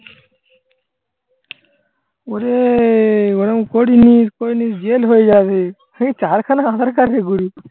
ওরে ওরম করিসনি করলে jail হয়ে যাবে। সেই চারখানা আধার card নিয়ে ঘুরিস।